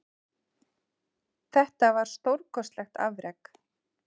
Þetta var stórkostlegt afrek